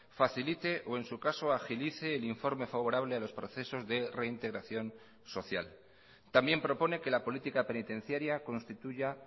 facilite o en su caso agilice el informe favorable a los procesos de reintegración social también propone que la política penitenciaria constituya